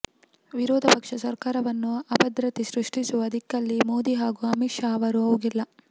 ವಿರೋಧ ಪಕ್ಷ ಸರ್ಕಾರವನ್ನು ಅಭದ್ರತೆ ಸೃಷ್ಟಿಸುವ ದಿಕ್ಕಲ್ಲಿ ಮೋದಿ ಹಾಗೂ ಅಮಿತ್ ಶಾ ಅವರು ಹೋಗಿಲ್ಲ